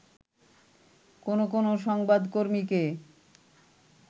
কোন কোন সংবাদকর্মীকে